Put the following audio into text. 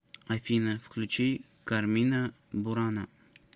афина включи кармина бурана